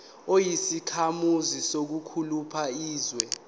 uyisakhamuzi sakuliphi izwe